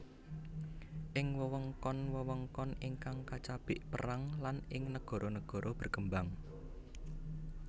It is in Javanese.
Ing wewengkon wewengkon ingkang kacabik perang lan ing nagara nagara berkembang